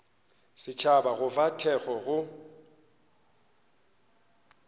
setšhaba go fa thekgo go